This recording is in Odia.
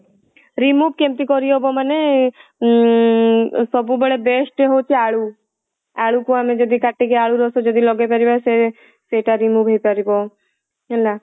remove କେମିତି କରିହବ ମାନେ ଉଁ ସବୁବେଳେ best ହଉଛି ଆଳୁ ଆଳୁ କୁ ଯଦି ଆମେ କାଟିକି ଆଳୁ ରସ ଯଦି ଲଗେଇ ପାରିବା ସେ ସେଇଟା remove ହେଇ ପାରିବ ହେଲା